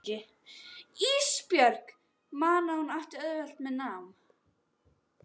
Ísbjörg man að hún átti auðvelt með nám.